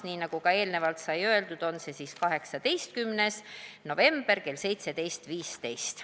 Nii nagu eelnevalt sai öeldud, on see 18. november kell 17.15.